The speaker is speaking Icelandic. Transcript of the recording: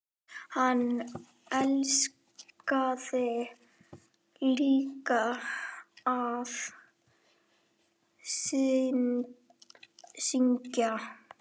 Hann elskaði líka að syngja.